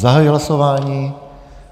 Zahajuji hlasování.